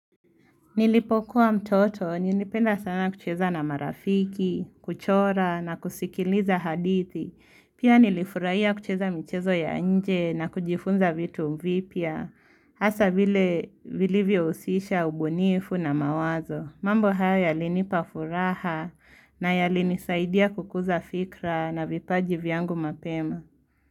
Nilipokuwa mtoto nilipenda sana kucheza na marafiki kuchora na kusikiliza hadithi Pia nilifurahia kucheza michezo ya nje na kujifunza vitu vipya Hasa vile vilivyo husisha ubunifu na mawazo mambo hayo yalinipa furaha na yalinisaidia kukuza fikra na vipaji vyangu mapema.